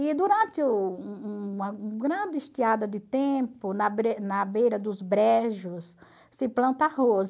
E durante uma um grande estiada de tempo, na na beira dos brejos, se planta arroz.